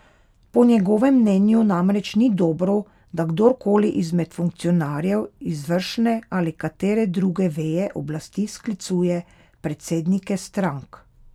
Po njegovem mnenju namreč ni dobro, da kdor koli izmed funkcionarjev izvršne ali katere druge veje oblasti sklicuje predsednike strank.